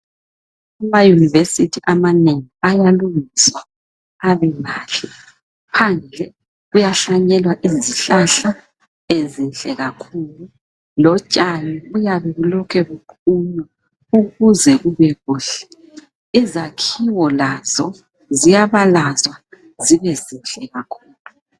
Ama yunivesithi amanengi ayalungiswa abemahle, phandle kuyahlanyelwa izihlahla ezinhle kakhulu lotshani buyabe bulokhe bukhula ukuze kube kuhle . Izakhiwo lazo ziyabalazwa zibe zinhle kakhulu.